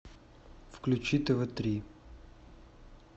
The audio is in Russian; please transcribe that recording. включи тв три